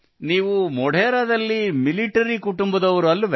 ನೀವು ಮೊಡೆರಾದಲ್ಲಿ ಮಿಲಿಟರಿ ಕುಟುಂಬದವರು ಅಲ್ಲವೆ